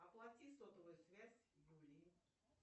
оплати сотовую связь юлии